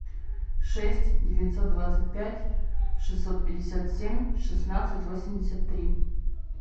шесть девятьсот двадцать пять шестьсот пятьдесят семь шестнадцать восемьдесят три